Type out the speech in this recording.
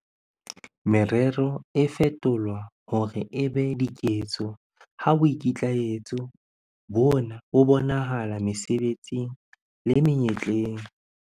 Merero e fetolwa hore e be diketso ha boikitlaetso bona bo bonahala mesebetsing le menyetleng.